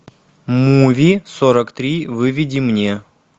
муви сорок три выведи мне